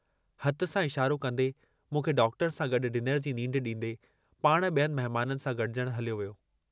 अजमेर में सरकारी वॾी अस्पताल हिकिड़ी, तहिं में बि ॾंदनि जे लाइ हिक सिकी लधी डॉक्टरयाणी।